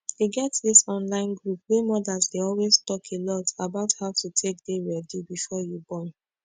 e get dis online group wey mothers dey always talk a lot about how to take dey ready before you born